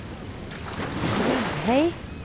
Grubhei